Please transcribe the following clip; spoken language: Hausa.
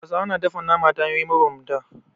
Hausawa na dafa nama ta hanyoyi mabambanta.